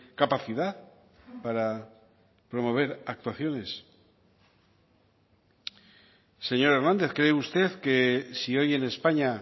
capacidad para promover actuaciones señor hernández cree usted que si hoy en españa